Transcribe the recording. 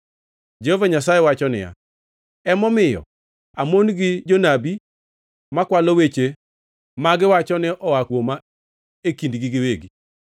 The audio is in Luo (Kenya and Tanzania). Jehova Nyasaye wacho niya, “Emomiyo amon gi jonabi makwalo weche ma giwacho ni oa kuoma e kindgi giwegi.”